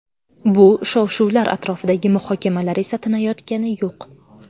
Bu shov-shuvlar atrofidagi muhokamalar esa tinayotgani yo‘q.